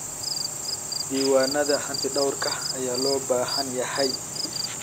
Diiwaanada hantidhawrka ayaa loo baahan yahay.